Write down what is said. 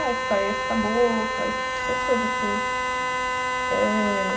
Aí sai essas caboclas, essas coisas assim. Eh...